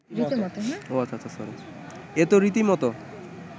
এ তো রীতিমত